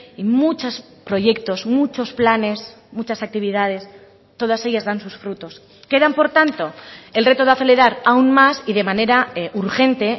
y muchos proyectos muchos planes muchas actividades todas ellas dan sus frutos quedan por tanto el reto de acelerar aún más y de manera urgente